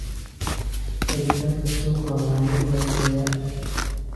Helitaanka suuqu waa mid hooseeya.